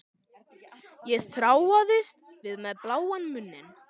Ég þráaðist við með bláan munn.